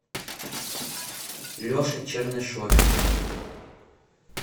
леше чернышове